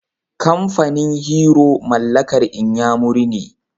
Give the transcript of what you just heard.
Kamfanin Hero mallakar inyamuri ne.